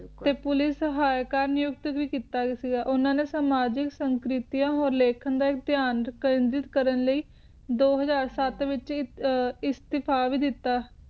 ਹਨ ਜੀ ਹਨ ਜੀ ਬਿਲਕੁਲ ਤੇ ਪੁਲਿਸ ਹੈਕਰ ਦਾ ਨਿਯੁਕ ਭੀ ਕਿੱਤਾ ਸੀ ਗਯਾ ਉਨ੍ਹਾਂ ਨੇ ਸਿਮਜੀਕ ਸੰਸਕ੍ਰਿਤੀ ਓਲੇਖਾਂ ਦਾ ਦੇਹਾਂ ਕਰਨ ਲਈ ਦੋ ਹਾਜ਼ਰ ਸੱਤ ਵਿਚ ਇਸਤੀਫ਼ਾ ਭੀ ਦਿੱਤਾ